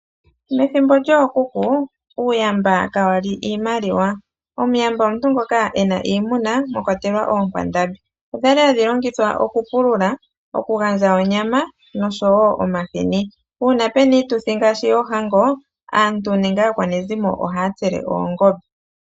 Methimbo lyookuku uuyamba kawali iimaliwa . Omuyamba omuntu ngoka ena iimuna mwakwatelwa oonkwandambi . Odhali hadhi longithwa okupulula, okugandja onyama noshowoo omahini . Uuna puna iituthi ngaashi yoohango , aantu nenge aakwanezimo ohaya tsele oongombe.